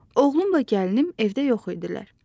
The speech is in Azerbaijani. Oğlumla gəlinim evdə yox idilər.